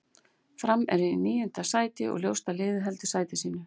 Fram er í níunda sæti og ljóst að liðið heldur sæti sínu.